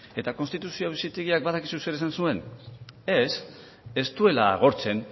eta konstituzio auzitegiak badakizu zer esan zuen ez ez duela agortzen